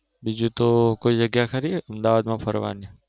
બીજું તો કોઈ જગ્યા ખરી અહમદાબાદ માં ફરવની?